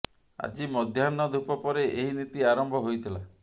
ଆଜି ମଧ୍ୟାହ୍ନ ଧୂପ ପରେ ଏହି ନୀତି ଆରମ୍ଭ ହୋଇଥିଲା